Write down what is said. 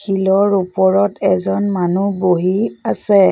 শিলৰ ওপৰত এজন মানুহ বহি আছে।